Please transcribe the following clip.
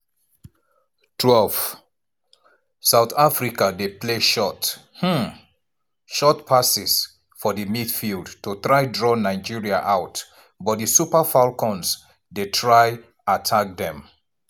12' south africa dey play short um short passes for di midfield to try draw nigeria out but di super falcons dey try attack dem.